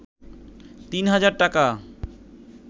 ৩ হাজার টাকা